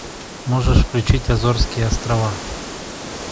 можешь включить азорские острова